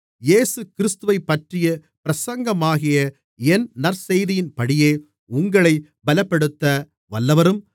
இயேசுகிறிஸ்துவைப்பற்றிய பிரசங்கமாகிய என் நற்செய்தியின்படியே உங்களைப் பலப்படுத்த வல்லவரும்